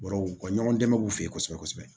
Bɔrɔw u ka ɲɔgɔn dɛmɛ k'u fe yen kosɛbɛ kosɛbɛ